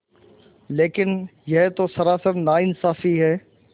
लेकिन यह तो सरासर नाइंसाफ़ी है